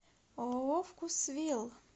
ооо вкусвилл